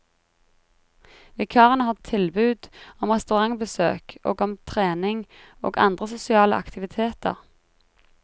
Vikarene har tilbud om restaurantbesøk og om trening og andre sosiale aktiviteter.